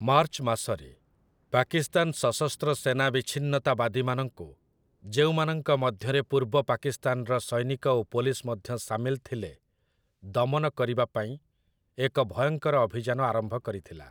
March ମାସରେ, ପାକିସ୍ତାନ ସଶସ୍ତ୍ର ସେନା ବିଚ୍ଛିନ୍ନତାବାଦୀମାନଙ୍କୁ, ଯେଉଁମାନଙ୍କ ମଧ୍ୟରେ ପୂର୍ବ ପାକିସ୍ତାନର ସୈନିକ ଓ ପୋଲିସ ମଧ୍ୟ ସାମିଲ ଥିଲେ, ଦମନ କରିବା ପାଇଁ ଏକ ଭୟଙ୍କର ଅଭିଯାନ ଆରମ୍ଭ କରିଥିଲା ।